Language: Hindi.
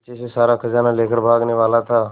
पीछे से सारा खजाना लेकर भागने वाला था